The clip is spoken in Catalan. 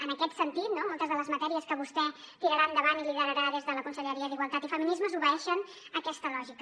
en aquest sentit no moltes de les matèries que vostè tirarà endavant i liderarà des de la conselleria d’igualtat i feminismes obeeixen aquesta lògica